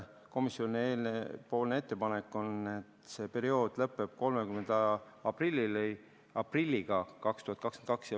Komisjoni ettepanek on, et see periood lõpeb 30. aprilliga 2022.